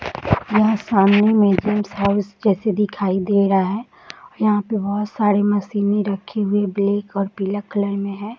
यहाँ सामने में गेस्ट हाउस जैसे दिखाई दे रहा है। यहाँ पे बहोत सारे मशीने रखे हुए बेलेक और पीला कलर में है।